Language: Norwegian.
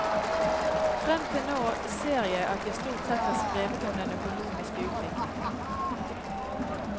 Fram til nå ser jeg at jeg stort sett har skrevet om den økonomiske utviklinga.